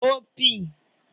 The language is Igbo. opi